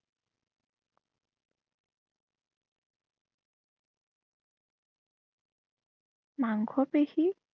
মাংসপেশী